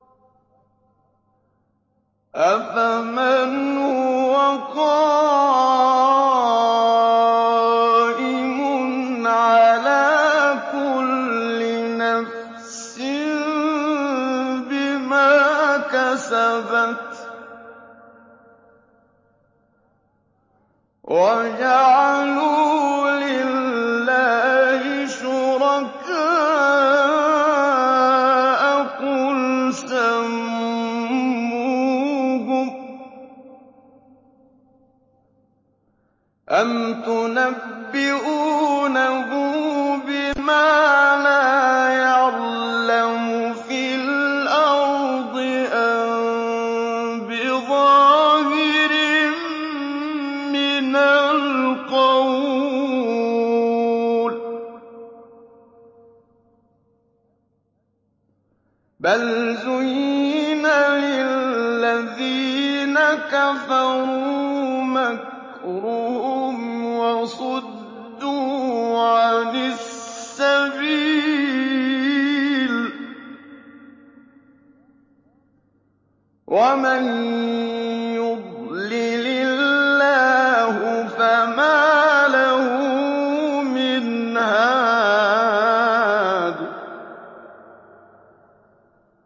أَفَمَنْ هُوَ قَائِمٌ عَلَىٰ كُلِّ نَفْسٍ بِمَا كَسَبَتْ ۗ وَجَعَلُوا لِلَّهِ شُرَكَاءَ قُلْ سَمُّوهُمْ ۚ أَمْ تُنَبِّئُونَهُ بِمَا لَا يَعْلَمُ فِي الْأَرْضِ أَم بِظَاهِرٍ مِّنَ الْقَوْلِ ۗ بَلْ زُيِّنَ لِلَّذِينَ كَفَرُوا مَكْرُهُمْ وَصُدُّوا عَنِ السَّبِيلِ ۗ وَمَن يُضْلِلِ اللَّهُ فَمَا لَهُ مِنْ هَادٍ